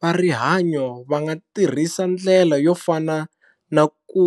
Va rihanyo va nga tirhisa ndlela yo fana na ku